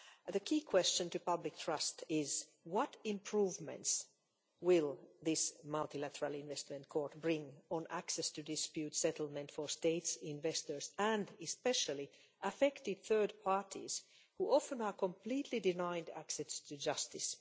The key question for public trust is what improvements will this multilateral investment court bring in terms of access to dispute settlement for states, investors and, especially, affected third parties who are often completely denied access to justice?